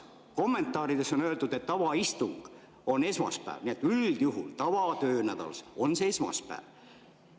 Kommentaarides on öeldud, et avaistung on esmaspäeval, üldjuhul tavatöönädalal toimub see esmaspäeval.